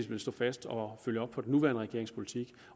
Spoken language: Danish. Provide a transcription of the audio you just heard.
vil stå fast og følge op på den nuværende regerings politik